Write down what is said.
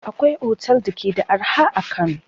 Akwai otel da ke da arha a Kano.